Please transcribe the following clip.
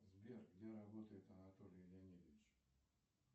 сбер где работает анатолий леонидович